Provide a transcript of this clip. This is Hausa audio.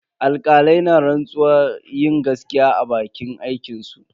Alkalai na rantsuwar yin gaskiya a bakin aikinsu.